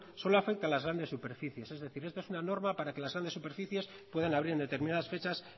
solo afecta a las grandes superficies es decir esto es una norma para que las grandes superficies puedan abrir en determinadas fechas